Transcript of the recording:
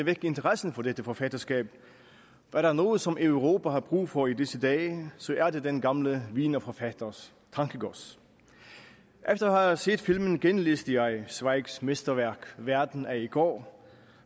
vække interessen for dette forfatterskab er der noget som europa har brug for i disse dage er det den gamle wienerforfatters tankegods efter at set filmen genlæste jeg zweigs mesterværk verden af i går